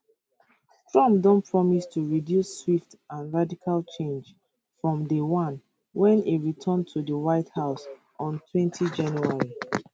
trump don promise to introduce swift and radical change from day one wen e return to di white house ontwentyjanuary